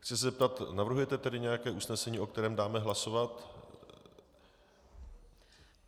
Chci se zeptat - navrhujete tedy nějaké usnesení, o kterém dáme hlasovat?